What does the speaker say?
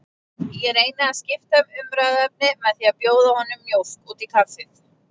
Ég reyni að skipta um umræðuefni með því að bjóða honum mjólk út í kaffið.